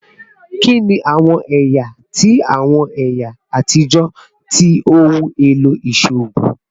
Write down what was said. Kini awọn ẹya ti awọn ẹya atijọ ti ohun elo iṣoogun?